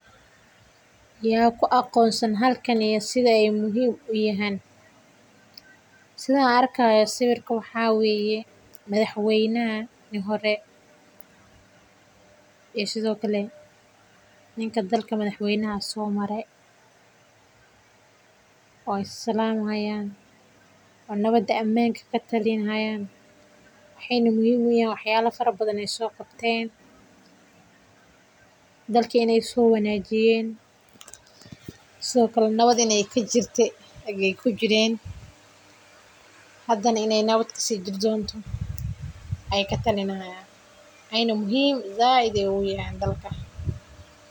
Ya ku aqoonsan halkam iyo sida aay muhiim uyahan waxaan arki haaya meeshan madax weynaha hore iyo ninka madaxa hayo waay is salami haayan amni ayeey mujini haayan mawada ayeey katalini haaya muhiim ayeey utahay dalka.